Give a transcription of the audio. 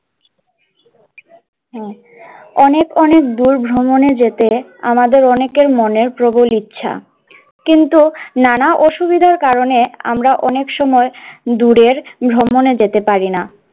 হ্যাঁ অনেক অনেক দূর ভ্রমণে যেতে আমাদের অনেকের মনে প্রবল ইচ্ছা, কিন্তু নানা অসুবিধার কারনে আমরা অনেক সময় দূরের ভ্রমণে যেতে পারি না।